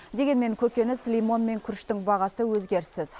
дегенмен көкөніс лимон мен күріштің бағасы өзгеріссіз